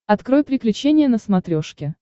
открой приключения на смотрешке